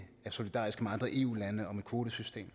er solidariske med andre eu lande om et kvotesystem